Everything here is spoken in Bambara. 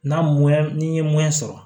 N'a n'i ye sɔrɔ